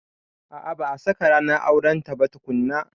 A a ba a saka ranar aurenta ba tukunna.